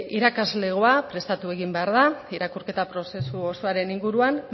irakaslegoa prestatu egin behar da irakurketa prozesu osoaren inguruan